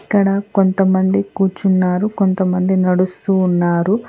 ఇక్కడ కొంతమంది కూర్చున్నారు కొంతమంది నడుస్తూ ఉన్నారు.